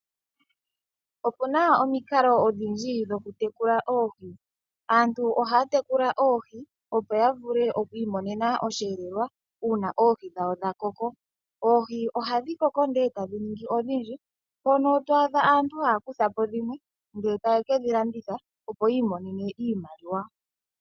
Opu na omikalo odhindji dhokutekula oohi. Aantu ohaya tekula oohi opo ya vule okwiimonena omweelelo uuna oohi dhawo dhakoko. Oohi ohadhi koko ndee tadhi ningi odhindji mpono to adha aantu taya kutha po dhimwe ndee taye ke dhilanditha opo yi imonene iimaliwa.